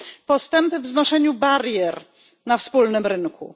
postępy w znoszeniu barier na wspólnym rynku.